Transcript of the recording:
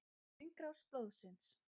Hringrás blóðsins.